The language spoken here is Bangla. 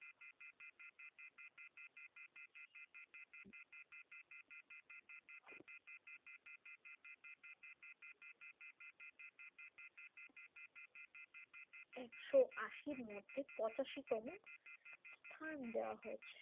একশো আশি এরমধ্যে পঁচাশি তম স্থান দেওয়া হয়েছে।